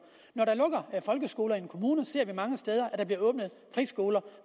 når der lukker folkeskoler i en kommune ser vi mange steder at der bliver åbnet friskoler